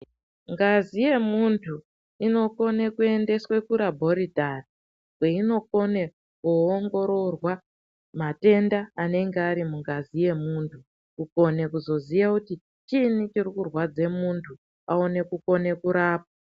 Ngazi yemuntu inokone kuendeswe kurabhoritari kweinokone kuongororwa matenda anenge ari mungazi yemuntu kukone kuzoziye kuti chiini chirikurwadze muntu aone kukone kurapwa.